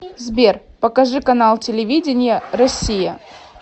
сбер покажи канал телевидения россия